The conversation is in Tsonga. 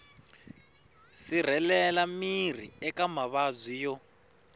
sirhelela miri eka mavabyi yo